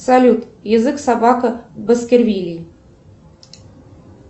салют язык собака баскервилей